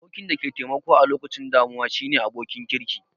Abokin da ke taimako a lokacin damuwa shine abokin kirki